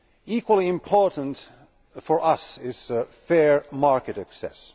Equally important for us is fair market access.